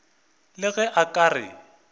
le ge a ka re